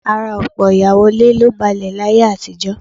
Ara ọ̀pọ̀ ìyàwó ilé ló balẹ̀ láyé àtijọ́